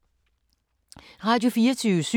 Radio24syv